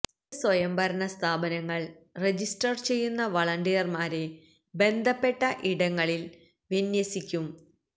തദ്ദേശസ്വയംഭരണ സ്ഥാപനങ്ങള് രജിസ്റ്റര് ചെയ്യുന്ന വളണ്ടിയര്മാരെ ബന്ധപ്പെട്ട ഇടങ്ങളില് വിന്യസിക്കും